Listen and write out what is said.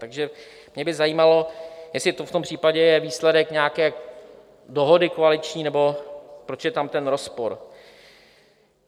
Takže mě by zajímalo, jestli to v tom případě je výsledek nějaké dohody koaliční, nebo proč je tam ten rozpor.